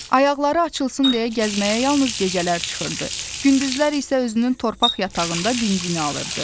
Ayaqları açılsın deyə gəzməyə yalnız gecələr çıxırdı, gündüzlər isə özünün torpaq yatağında dincini alırdı.